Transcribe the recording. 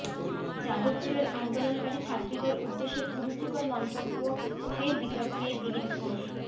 যাদবপুরের আন্দোলনকারী ছাত্রীদের উদ্দেশ্যে কুরুচিকর মন্তব্য ফের বিতর্কে দিলীপ ঘোষ